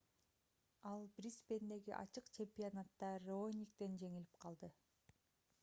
ал брисбендеги ачык чемпионатта раониктен жеңилип калды